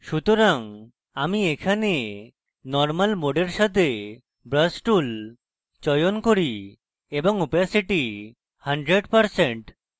সুতরাং আমি এখানে normal mode সাথে brush tool চয়ন করি এবং opacity 100%